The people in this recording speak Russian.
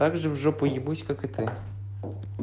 также в жопу ебусь как и ты